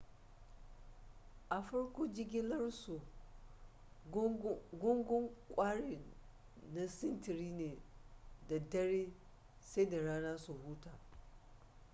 a farko jigilarsu gungun kwarin na sintiri ne da daddare sai da rana su huta